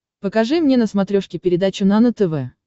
покажи мне на смотрешке передачу нано тв